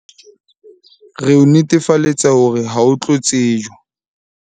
Re o netefaletsa hore ha o tlo tsejwa